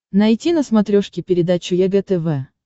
найти на смотрешке передачу егэ тв